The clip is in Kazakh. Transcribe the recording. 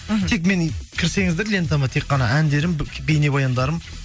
мхм тек мені кірсеңіздер лентама тек қана әндерім бейнебаяндарым